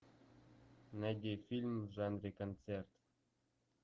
найди фильм в жанре концерт